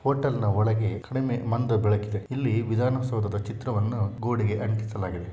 ಹೋಟೆಲ್ನ ಒಳಗೆ ಕಡಿಮೆ ಮಂದ ಬೆಳಕಿದೆ. ಇಲ್ಲಿ ವಿಧಾನಸೌದದ ಚಿತ್ರವನ್ನು ಗೋಡೆಗೆ ಅಂಟಿಸಲಾಗಿದೆ.